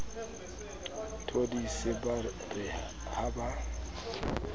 thodise ba re ha ba